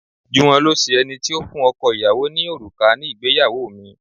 Juwon lo ṣe ẹni tí ó fún ọkọ àti ìyàwó ní òrùka ní ìgbéyàwó mi.